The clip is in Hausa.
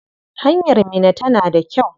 Hanyar Minna tana da kyau?